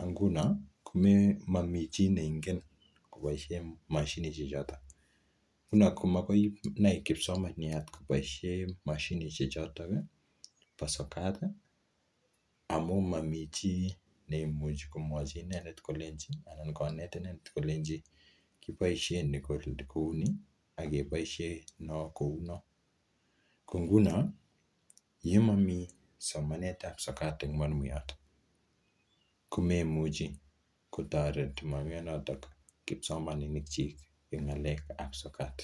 ak nguno momi chi neingen koboisie moshinishek choto konab komanai kipsomaniat koboisie moshinisiek choto bo sokat amun momi chi neimuchi konet inendetkolenchi kiboisie ni kouni ak keboisie no kounon. Ko nguno ye momi somanetab sokat en mwalimuyat komaimuchi kotoret mwalimuyanoto kipsomaninikyik en ng'alekab sokat.